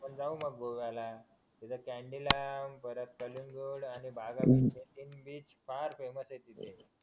जाऊ मग गोव्याला बीच पार करू